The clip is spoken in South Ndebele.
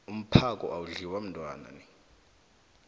umphako awudliwa mntwana